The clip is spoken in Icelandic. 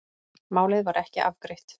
Málið var ekki afgreitt